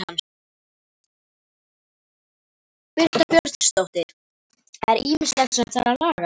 Birta Björnsdóttir: Það er ýmislegt sem þarf að laga?